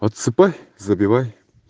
подсыпай забивай